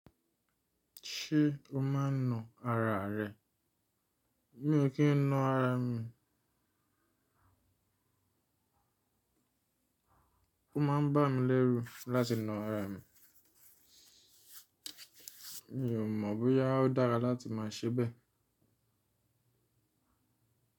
Ṣé o máa ń na ara rẹ? Mi ò kí ń na ara mi. Ó máa ń bá mi lẹ́rú láti na ara mi. Mi ò mọ̀ bóyá ó dára láti máa ṣe bẹ́ẹ̀.